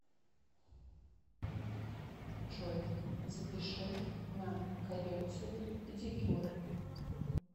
джой запиши на коррекцию педикюра